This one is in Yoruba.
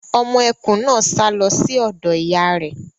Ọmọ ẹkùn náà sá lọ sí ọ̀dọ̀ ìyá ẹ̀.